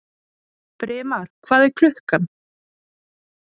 Brimar, hvað er klukkan?